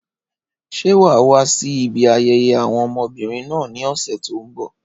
Ṣé wà á wá sí ibi ayẹyẹ àwọn ọmọbìnrin náà ní ọ̀sẹ̀ tí ó ń bọ̀?